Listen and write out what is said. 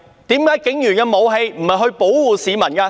為何警員的武器不是用於保護市民？